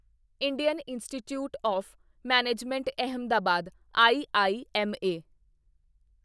Indian institute of management Ahmedabad IIMA